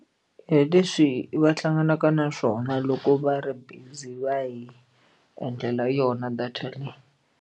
Hi leswi va hlanganaka na swona loko va ri busy va hi endlela yona data leyi.